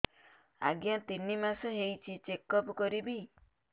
ଆଜ୍ଞା ତିନି ମାସ ହେଇଛି ଚେକ ଅପ କରିବି